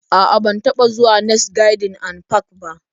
A'a, ban taba zuwa next garden and park ba